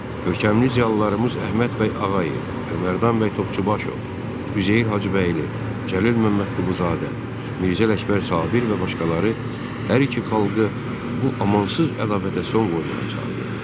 Görkəmli ziyalılarımız Əhməd bəy Ağayev, Əlimərdan bəy Topçubaşov, Üzeyir Hacıbəyli, Cəlil Məmmədquluzadə, Mirzə Ələkbər Sabir və başqaları hər iki xalqı bu amansız ədavətə son qoymağa çağırır.